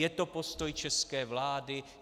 Je to postoj české vlády?